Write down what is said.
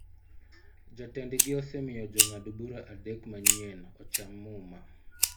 Jatendgi osemiyo jong'ad-bura adek manyien ocham muma.